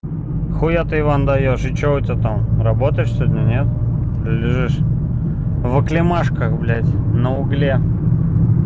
хуя ты иван даёшь и что у тебя там работаешь сегодня нет или лежишь в оклемашках блядь на угле